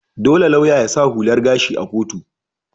Dolle lauya ya sa hular gashi a'kotu.